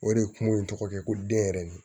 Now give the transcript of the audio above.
O de ye kungo in tɔgɔ ye ko denyɛrɛnin